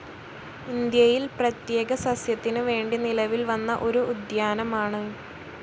ഇന്ത്യയിൽ പ്രത്യേക സസ്യത്തിന് വേണ്ടി നിലവിൽ വന്ന ഒരു ഉദ്യാനമാണ്.